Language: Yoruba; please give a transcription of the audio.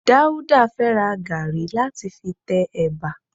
Dáúdà fẹ́ ra gàrí láti fi tẹ ẹ̀bà